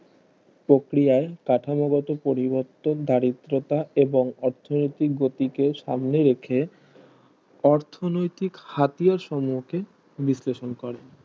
প্রক্রিয়ায় কাঠামোগত পরিবর্তন দারিদ্রতা এবং অর্থনৈতিক গতিকে সামনে রেখে অর্থনৈতিক হাতিয়ার সম্মুখে বিশ্লেষণ করেন